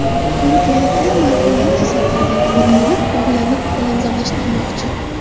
Belgiyaliklar marhumlar jasadlaridan foydalanib, bog‘larni ko‘kalamzorlashtirmoqchi.